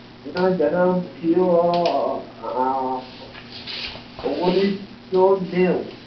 એનો જન્મ થયો ઊનીશ સૌ નેવ